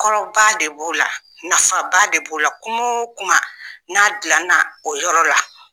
Kɔrɔba de b'o la, nafaba de b'o la, kuma o kuma n'a dilana o yɔrɔ la